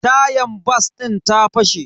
Tayan bas din ta fashe.